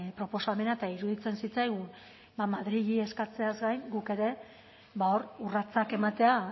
proposamena eta iruditzen zitzaigun ba madrili eskatzeaz gain guk ere hor urratsak ematea